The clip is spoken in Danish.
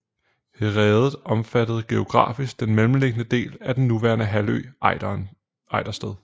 Herredet omfattede geografisk den mellemliggende del af den nuværende halvø Ejdersted